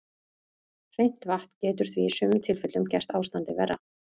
Hreint vatn getur því í sumum tilfellum gert ástandið verra.